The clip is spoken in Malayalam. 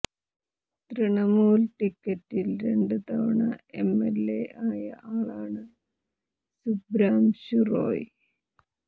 തൃണമൂൽ ടിക്കറ്റിൽ രണ്ട് തവണ എംഎല്എ ആയ ആളാണ് സുബ്രാംശു റോയ്